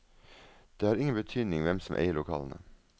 Det har ingen betydning hvem som eier lokalene.